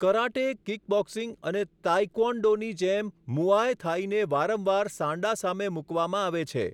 Karate, kickboxing અને તાઈ ક્વોન દોની જેમ મુઆય થાઈને વારંવાર સાન્ડા સામે મુકવામાં આવે છે.